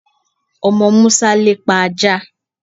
Omo Musa lepa aja